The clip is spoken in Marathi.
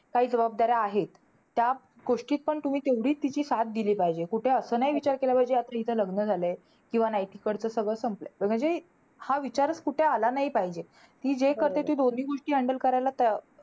काही जबाबदाऱ्या आहेत. त्या गोष्टीत पण तेवढीच तुम्ही तिची साथ दिली पाहिजे. कुठे असं नाही विचार केला पाहिजे, आता हीच लग्न झालंय किंवा नाही. तिकडचं सगळं संपलंय. म्हणजे हा विचारचं कुठे आला नाही पाहिजे. ती जे करते ती दोन्ही गोष्टी handle करायला त्या.